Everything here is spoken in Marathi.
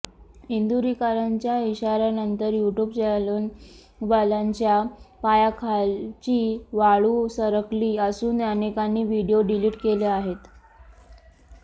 इंदुरीकरांच्या इशाऱ्यानंतर यूट्यूब चॅनेलवाल्यांच्या पायाखालची वाळू सरकली असून अनेकांनी व्हिडीओ डिलीट केले आहेत